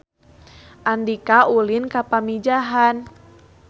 Andika ulin ka Pamijahan